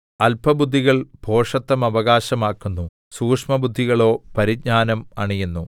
അല്പബുദ്ധികൾ ഭോഷത്തം അവകാശമാക്കുന്നു സൂക്ഷ്മബുദ്ധികളോ പരിജ്ഞാനം അണിയുന്നു